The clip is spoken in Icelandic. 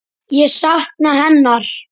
Ég sakna hennar.